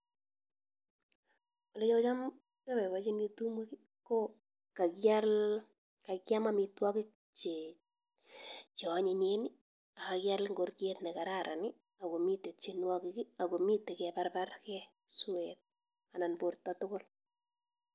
Oleacham abaibachini tumwek ko kakiam amitwokik che anyinyen ak kakial ngoriet nekararan akomite tienwokik akomite kebarbrake swet anan borta tukul.